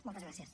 moltes gràcies